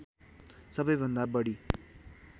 सबैभन्दा बढी